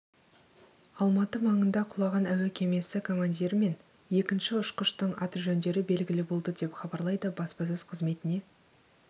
алматы маңында құлаған әуе кемесі командирі мен екінші ұшқыштың аты-жөндері белгілі болды деп хабарлайды баспасөз қызметіне